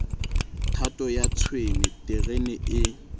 thato ya tshwene terene e